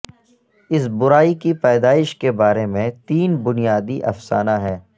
اس برائی کی پیدائش کے بارے میں تین بنیادی افسانہ ہیں